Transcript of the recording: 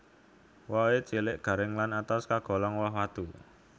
Wohé cilik garing lan atos kagolong woh watu